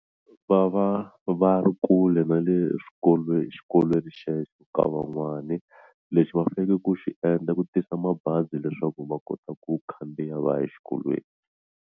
Va va va ri kule na le swikolweni xikolweni xexo ka van'wani lexi va faneleke ku xi endla i ku tisa mabazi leswaku va kota ku khandziya va ya exikolweni.